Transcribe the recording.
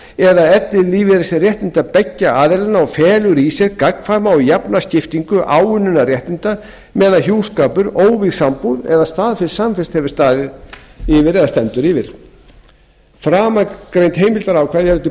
eða ellilífeyrisréttinda beggja aðilanna og felur í sér gagnkvæma og jafna skiptingu áunninna réttinda meðan hjúskapur óvígð sambúð eða staðfest samvist hefur staðið eða stendur framangreind heimildarákvæði eru til